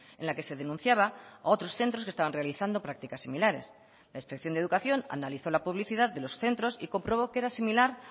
en la que se denunciaba a otros centros que estaban realizando prácticas similares la inspección de educación analizó la publicidad de los centros y comprobó que era similar